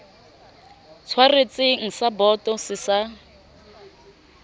tshwaretseng sa boto se sa